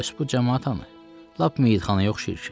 Bəs bu camaat hanı? Lap meyitxanaya oxşayır ki.